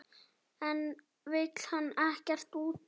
En vill hann ekkert útiloka?